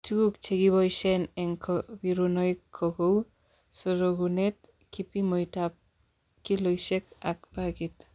Tugul chekiboishen en kobirunoik ko kou, sorokunet, kipimoit ab kiloisiek ak bagit.